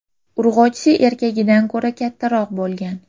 Urg‘ochisi erkagidan ko‘ra kattaroq bo‘lgan.